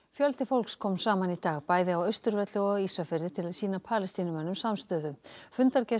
fjöldi fólks kom saman í dag bæði á Austurvelli og á Ísafirði til að sína Palestínumönnum samstöðu